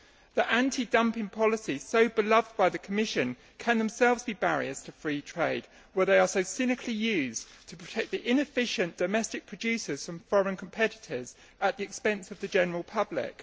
The anti dumping policies so beloved by the Commission can themselves be barriers to free trade where they are cynically used to protect inefficient domestic producers from foreign competitors at the expense of the general public.